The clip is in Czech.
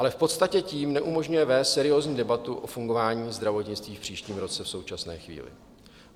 Ale v podstatě tím neumožňuje vést seriózní debatu o fungování zdravotnictví v příštím roce v současné chvíli.